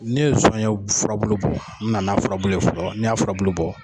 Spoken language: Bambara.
Ni ne ye zɔnɲɛ furabulu bɔ , n bi nana furabulu ye fɔlɔ ni n y'a furabulu bɔ.